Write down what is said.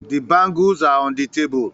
The bangles are on the table